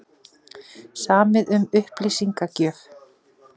Samið um upplýsingagjöf